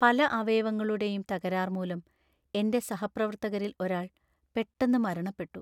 പല അവയവങ്ങളുടെയും തകരാർ മൂലം എന്‍റെ സഹപ്രവർത്തകരിൽ ഒരാൾ പെട്ടെന്ന് മരണപ്പെട്ടു.